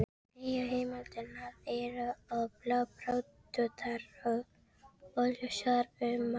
Nýju heimildirnar eru bláþráðóttar og óljósar um margt.